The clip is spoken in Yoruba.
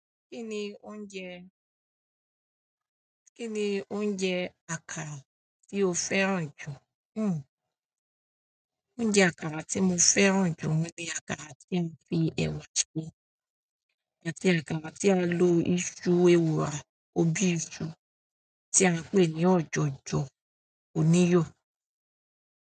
Ki ni oúnjẹ, ki ni oúnjẹ àkàrà ti o fẹ́ràn ju? Hm. Oúnjẹ àkàrà tí mo fẹ́ràn jù ni àkàrà tí a fi ẹwà ṣe àti àkàrà tí a lo iṣu ẹwurà, ọ̀bi iṣu tí a ń pè ní ọ̀jọ̀jọ̀ oníyò.